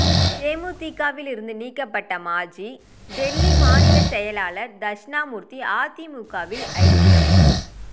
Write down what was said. தேமுதிகவில் இருந்து நீக்கப்பட்ட மாஜி டெல்லி மாநில செயலர் தட்சிணாமூர்த்தி அதிமுகவில் ஐக்கியம்